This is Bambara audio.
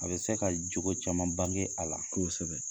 A bɛ se ka cogo caman bange a la, kosɛbɛ.